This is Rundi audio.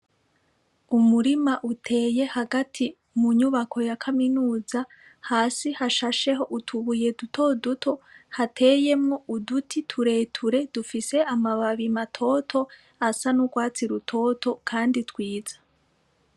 Umurima uteye hagati mu nyubako ya kaminuza hasi hashasheho utubuye dutoduto hateyemwo uduti tureture dufise amababi matoto asa n'ugwatsi rutoto kandi twiza.